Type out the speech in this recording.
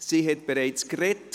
Sie hat bereits gesprochen.